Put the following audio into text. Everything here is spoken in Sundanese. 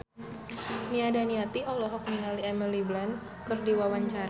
Nia Daniati olohok ningali Emily Blunt keur diwawancara